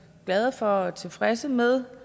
glade for og tilfredse med